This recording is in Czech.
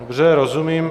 Dobře, rozumím.